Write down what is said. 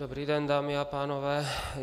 Dobrý den, dámy a pánové.